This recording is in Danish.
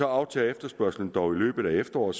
aftager efterspørgselen dog i løbet af efteråret